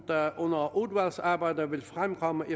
der under udvalgsarbejdet vil fremkomme et